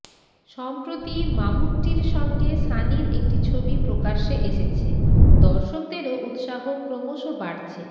সম্প্রতি মামুট্টির সঙ্গে সানির একটি ছবি প্রকাশ্যে এসেছে দর্শকদেরও উৎসাহ ক্রমশ বাড়ছে